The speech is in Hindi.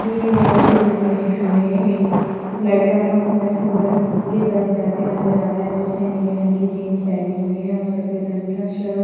दिए गए ये चित्र में हमें एक लड़का ज उधर की तरफ जाते नजर आ रहा है। जिसने नीले रंग की जींस पहनी हुई है और सफेद रंग का शर्ट --